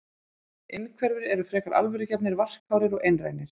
Innhverfir eru frekar alvörugefnir, varkárir og einrænir.